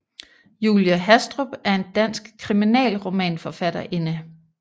Julie Hastrup er en dansk kriminalromanforfatterinde